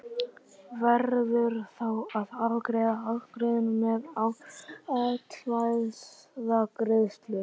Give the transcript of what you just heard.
Verður þá að afgreiða ágreininginn með atkvæðagreiðslu.